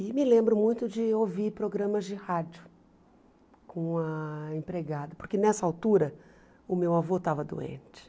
E me lembro muito de ouvir programas de rádio com a empregada, porque nessa altura o meu avô estava doente.